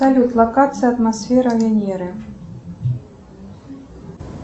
салют локация атмосфера венеры